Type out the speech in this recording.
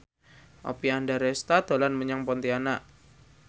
Oppie Andaresta dolan menyang Pontianak